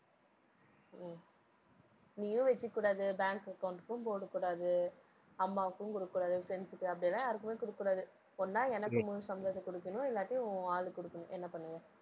உம் நீயும் வச்சுக்கக்கூடாது bank account க்கும் போடக்கூடாது அம்மாவுக்கும் குடுக்கக்கூடாது friends க்கு அப்படியெல்லாம் யாருக்குமே குடுக்கக்கூடாது. ஒண்ணா எனக்கு முழு சம்பளத்தை குடுக்கணும். இல்லாட்டி உன் ஆளுக்கு குடுக்கணும். என்ன பண்ணுவ?